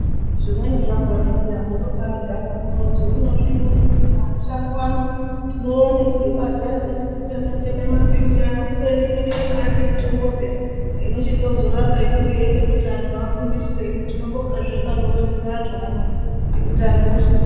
Zvimweni zvakona peya munobagara mworoti hino zvinyi izvizvi makushango ano tinoone kuri badza rekuti titeme teme mambiti ano kubeni inenge ibari mitombo peya inozorapa inenge yeide kuti antu afundiswe hino tinobonga zvedu anoronzera antu ano nekuti antu ozviziya.